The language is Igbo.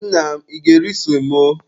Nna m, ị ga-eri semo?